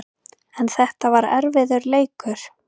En þetta var erfiður leikur